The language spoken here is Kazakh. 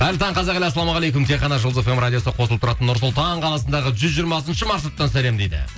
қайырлы таң қазақ елі ассалаумағалейкум тек қана жұлдыз эф эм радиосы қосылып тұратын нұр сұлтан қаласындағы жүз жиырма алтыншы маршруттан сәлем дейді